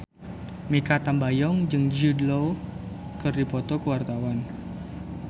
Mikha Tambayong jeung Jude Law keur dipoto ku wartawan